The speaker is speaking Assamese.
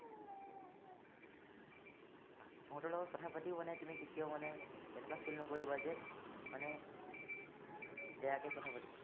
সিহঁতৰ লগত কথা পাতিও মানে, তুমি কেতিয়াও মানে, এনেকুৱা feel নকৰিবা যে মানে বেয়াকে কথা পাতিছো বুলি।